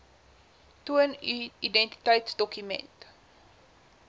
toon u identiteitsdokument